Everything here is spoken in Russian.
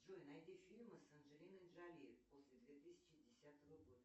джой найди фильмы с анджелиной джоли после две тысячи десятого года